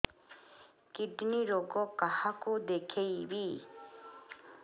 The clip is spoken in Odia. କିଡ଼ନୀ ରୋଗ କାହାକୁ ଦେଖେଇବି